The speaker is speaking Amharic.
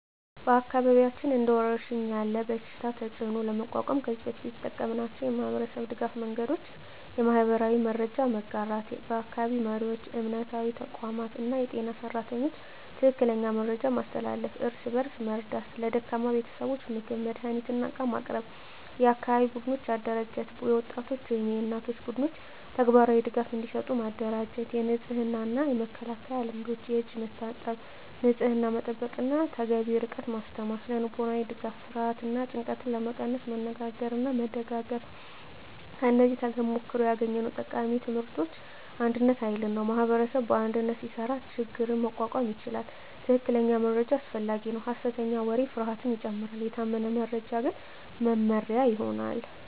በአካባቢያችን እንደ ወረሽኝ ያለ በሽታ ተፅዕኖ ለመቋቋም ከዚህ በፊት የተጠቀምናቸው የማህበረሰብ ድገፍ መንገዶች :- የማህበራዊ መረጃ መጋራት በአካባቢ መሪዎች፣ እምነታዊ ተቋማት እና የጤና ሰራተኞች ትክክለኛ መረጃ ማስተላለፍ። እርስ በእርስ መርዳት ለደካማ ቤተሰቦች ምግብ፣ መድሃኒት እና ዕቃ ማቅረብ። የአካባቢ ቡድኖች አደራጀት የወጣቶች ወይም የእናቶች ቡድኖች ተግባራዊ ድጋፍ እንዲሰጡ ማደራጀት። የንጽህና እና መከላከያ ልምዶች የእጅ መታጠብ፣ ንጽህና መጠበቅ እና ተገቢ ርቀት ማስተማር። ስነ-ልቦናዊ ድጋፍ ፍርሃትን እና ጭንቀትን ለመቀነስ መነጋገርና መደጋገፍ። ከዚህ ተሞክሮ ያገኘነው ቃሚ ትምህርቶች አንድነት ኃይል ነው ማኅበረሰብ በአንድነት ሲሰራ ችግኝ መቋቋም ይቻላል። ትክክለኛ መረጃ አስፈላጊ ነው ሐሰተኛ ወሬ ፍርሃትን ይጨምራል፤ የታመነ መረጃ ግን መመሪያ ይሆናል።